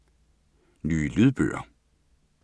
Nye lydbøger